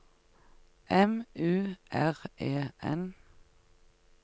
M U R E N